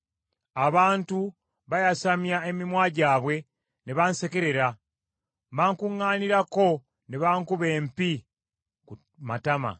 Abantu bayasamya emimwa gyabwe ne bansekerera; bankuŋŋaanirako ne bankuba empi ku matama.